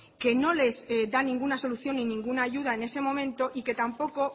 que no les da ninguna solución ni ninguna ayuda en ese momento y que tampoco